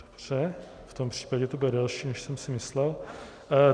Dobře, v tom případě to bude delší, než jsem si myslel.